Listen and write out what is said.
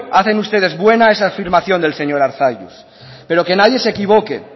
hacen ustedes buena esa afirmación del señor arzalluz pero que nadie se equivoque